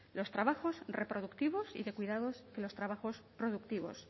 los trabajos reproductivos y de cuidados que los trabajos productivos